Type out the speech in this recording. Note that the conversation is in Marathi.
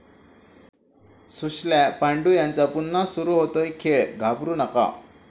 सुशल्या, पांडू यांचा पुन्हा सुरू होतोय 'खेळ', घाबरू नका